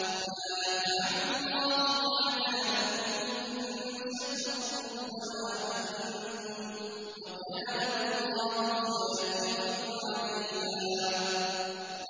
مَّا يَفْعَلُ اللَّهُ بِعَذَابِكُمْ إِن شَكَرْتُمْ وَآمَنتُمْ ۚ وَكَانَ اللَّهُ شَاكِرًا عَلِيمًا